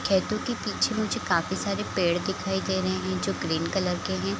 खेतो के पीछे मुझे काफी सारे पेड़ दिखाई दे रहें हैं जो ग्रीन कलर के हैं ।